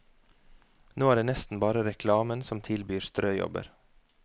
Nå er det nesten bare reklamen som tilbyr strøjobber.